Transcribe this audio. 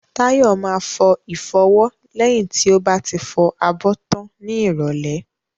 Tayo máa fọ ìfọwọ́ lẹ́yìn tí ó bá ti fọ abọ́ tán ní ìrólẹ́